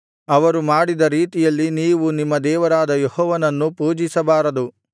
ಅವರು ಮಾಡಿದ ರೀತಿಯಲ್ಲಿ ನೀವು ನಿಮ್ಮ ದೇವರಾದ ಯೆಹೋವನನ್ನು ಪೂಜಿಸಬಾರದು